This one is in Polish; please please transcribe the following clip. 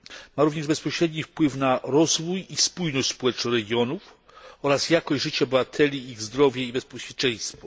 Ma również bezpośredni wpływ na rozwój i spójność społeczną regionów oraz jakość życia obywateli, ich zdrowie i bezpieczeństwo.